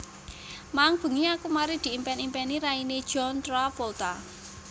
Maeng bengi aku mari diimpen impeni raine John Travolta